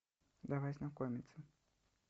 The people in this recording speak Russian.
давай знакомиться